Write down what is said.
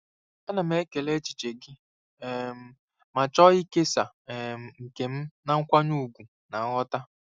Ana m ekele echiche gị um ma chọọ ịkesa um nke m na nkwanye ùgwù na nghọta.